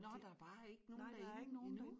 Nå der er bare ikke nogen derinde endnu?